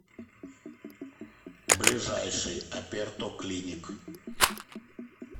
ближайший аперто клиник